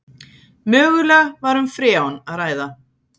Mögulega var um freon að ræða